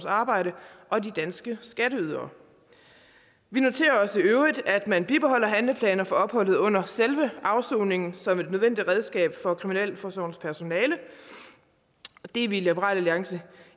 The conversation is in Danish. arbejde og de danske skatteydere vi noterer os i øvrigt at man bibeholder handleplaner for opholdet under selve afsoningen som et nødvendigt redskab for kriminalforsorgens personale og det er vi i liberal alliance